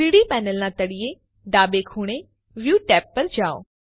3ડી પેનલના તળિયે ડાબે ખૂણે વ્યૂ ટેબ ઉપર જાઓ